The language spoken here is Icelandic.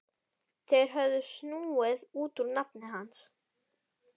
Þeir höfðu snúið út úr nafni hans.